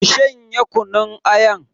Ki shanye kunun ayan.